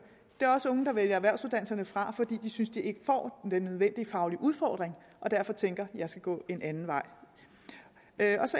det er også unge der vælger erhvervsuddannelserne fra fordi de synes at de ikke får den nødvendige faglige udfordring og derfor tænker jeg skal gå en anden vej